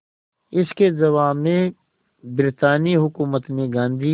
इसके जवाब में ब्रितानी हुकूमत ने गांधी